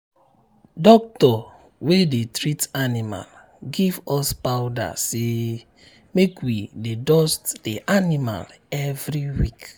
doctor wey dey treat animal give us um powdersay um powdersay make we dey dust the animal every week.